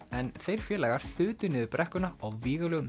en þeir félagar þutu niður brekkuna á